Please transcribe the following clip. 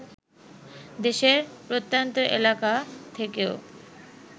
দেশের প্রত্যন্ত এলাকা থেকেও